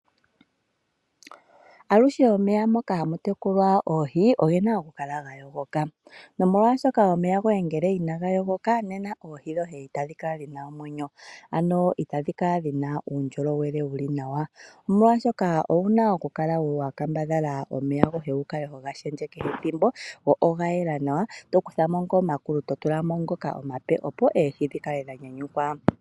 Alushe omeya moka hamu tekulwa oohi ogena okukala ga yogoka nolwashoka ngele omeya inaga yogoka nena oohi dhoye itadhi kala dhina omwenyo ano itadhi kala wo dhina uundjolowele wuli nawa ano owuna okukambadhala omeya goye wu kale to ga opaleke nawa opo eehi dhi kake dha nyanyukwa.